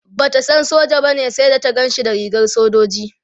Bata san soja bane sai da ta Ganshi da rigar sojoji